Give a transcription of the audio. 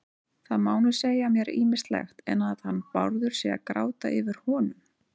Það má nú segja mér ýmislegt, en að hann Bárður sé að gráta yfir honum